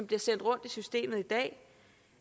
bliver sendt rundt i systemet